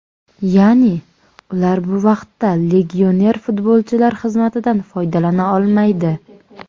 Ya’ni, ular bu vaqtda legioner futbolchilar xizmatidan foydalana olmaydi.